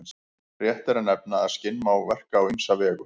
Rétt er að nefna að skinn má verka á ýmsa vegu.